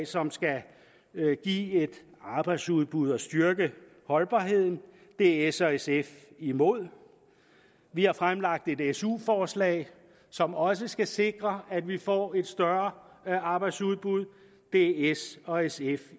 som skal give et arbejdsudbud og styrke holdbarheden det er s og sf imod vi har fremlagt et et su forslag som også skal sikre at vi får et større arbejdsudbud det er s og sf